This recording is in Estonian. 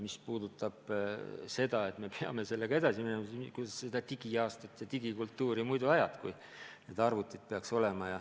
Mis puudutab seda, et me peame sellega edasi minema, siis jah, kuidas sa digiaastal digikultuuri muidu edendad, kui need arvutid peaks olema.